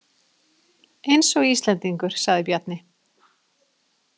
Eins og Íslendingur, sagði Bjarni.